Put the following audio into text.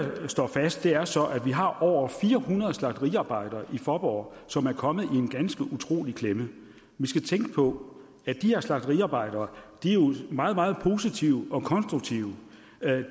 står fast er så at vi har over fire hundrede slagteriarbejdere i faaborg som er kommet i en ganske utrolig klemme vi skal tænke på at de her slagteriarbejdere jo er meget meget positive og konstruktive